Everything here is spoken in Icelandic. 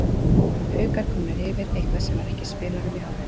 Haukar komnir yfir, eitthvað sem var ekki í spilunum í hálfleik.